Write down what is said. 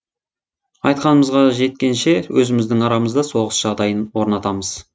айтқанымызға жеткенше өзіміздің арамызда соғыс жағдайын орнатамыз